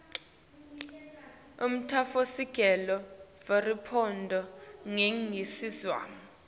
umtsetfosisekelo weriphabhulikhi yeningizimu